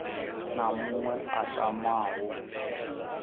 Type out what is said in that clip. na muṅwe a tamaho u